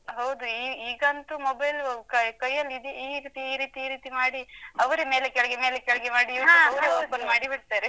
ಹೌದು. ಈ, ಈಗಂತೂ mobile ಕೈ ಕೈಯ್ಯಲ್ಲಿ ಇದು ಈಗ್ ಈ ರೀತಿ ಈ ರೀತಿ ಮಾಡಿ, ಅವರೇ ಮೇಲೆ ಕೆಳಗೆ ಮೇಲೆ ಕೆಳಗೆ ಮಾಡಿ YouTube ಅವ್ರೇ open ಮಾಡಿ ಬಿಡ್ತಾರೆ.